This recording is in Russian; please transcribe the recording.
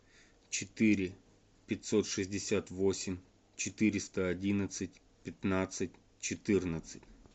четыре пятьсот шестьдесят восемь четыреста одиннадцать пятнадцать четырнадцать